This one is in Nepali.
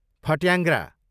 फट्याङ्ग्रा